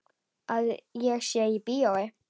Að ég sé í bíói.